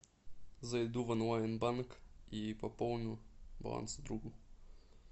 зайду в онлайн банк и пополню баланс другу